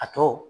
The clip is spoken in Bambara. A tɔ